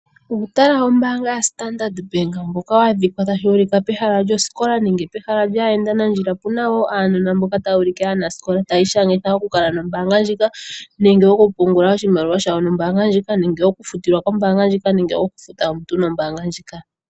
Uutala wombaanga yoStandard Bank mboka wa dhikwa pehala lyosikola nenge pehala lyaayendanandjila . Opu na wo aanona mboka taya ulike aanasikola taya ishangitha okukala nombaanga ndjika nenge okupungula oshimaliwa shawo nombaanga ndjika nenge okufutilwa kombaanga ndjika nenge okufuta omuntu nombaanga ndjika.